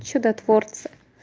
чудотворцы